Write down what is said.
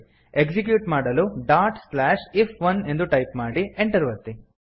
execute ಮಾಡಲು dot slash I F one ಎಂದು type ಮಾಡಿ Enter ಒತ್ತಿ